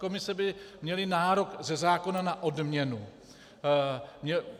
Komise by měly nárok ze zákona na odměnu.